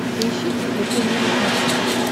поищи приключения на смотрешке